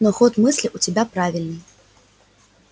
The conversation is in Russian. но ход мысли у тебя правильный